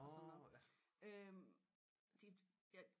Og sådan noget de ja